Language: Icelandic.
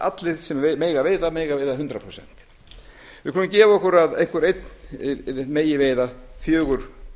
allir sem mega veiða megi veiða hundrað prósent við skulum gefa okkur að einhvern einn megi veiða fjögur